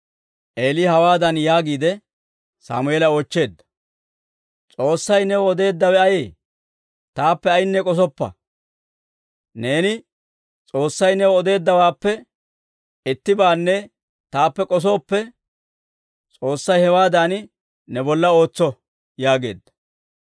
Eeli hawaadan yaagiide Sammeela oochcheedda; «S'oossay new odeeddawe ayee? Taappe ayinne k'osoppa; neeni S'oossay new odeeddawaappe ittibaanne taappe k'osooppe, S'oossay hewaadan ne bolla ootso» yaageedda.